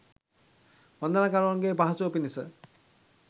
වන්දනාකරුවන්ගේ පහසුව පිණිස